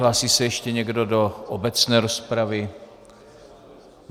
Hlásí se ještě někdo do obecné rozpravy?